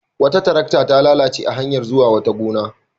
Wata tarakta ta lalace a hanyar zuwa wata gona.